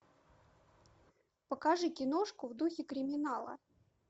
покажи киношку в духе криминала